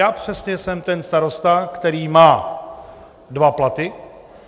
Já přesně jsem ten starosta, který má dva platy.